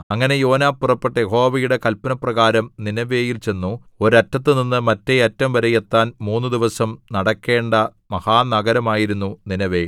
അങ്ങനെ യോനാ പുറപ്പെട്ട് യഹോവയുടെ കല്പനപ്രകാരം നീനെവേയിൽ ചെന്നു ഒരറ്റത്തുനിന്ന് മറ്റേഅറ്റം വരെ എത്താൻ മൂന്നുദിവസം നടക്കേണ്ട മഹാനഗരമായിരുന്നു നീനെവേ